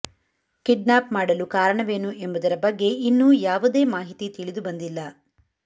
kidnap ಮಾಡಲು ಕಾರಣವೇನು ಎಂಬುದರ ಬಗ್ಗೆ ಇನ್ನೂ ಯಾವುದೇ ಮಾಹಿತಿ ತಿಳಿದುಬಂದಿಲ್ಲ